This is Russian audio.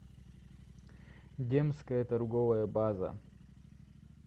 демская торговая база